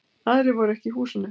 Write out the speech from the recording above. Aðrir voru ekki í húsinu.